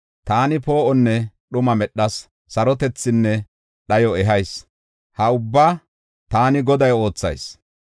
Taani poo7onne dhuma medhas; Sarotethinne dhayo ehayis; ha ubba taani Goday oothayis.